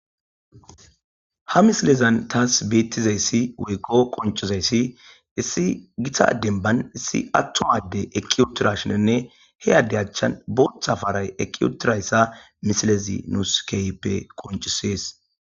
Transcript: ha misilezan taas beettizayssi woykko qonchozayssi issi gitadenban issi attowade eqiyotirashinenne he adde achchan booththa faray eqiyotirayssa misilezi nuuskeyppe qonchisees